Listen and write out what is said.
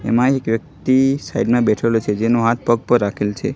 એમાં એક વ્યક્તિ સાઈડ મા બેઠેલો છે જેનો હાથ પગ પર રાખેલો છે.